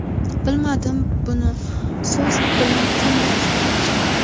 Bilmadim, buni so‘z bilan qanday ifodalash mumkin.